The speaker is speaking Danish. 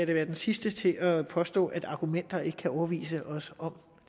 da være den sidste til at påstå at argumenter ikke kan overbevise os om